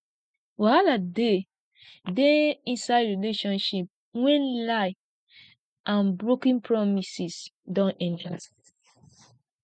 wahala dey dey inside relationship when lie and broken promises don enter